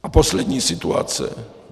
A poslední situace.